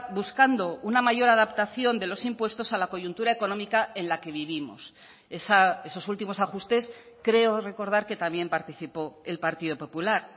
buscando una mayor adaptación de los impuestos a la coyuntura económica en la que vivimos esos últimos ajustes creo recordar que también participó el partido popular